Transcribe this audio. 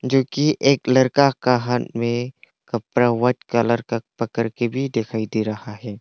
क्योंकि एक लरका का हाथ में कपड़ा वाइट कलर का पकड़ के भी दिखाई दे रहा है।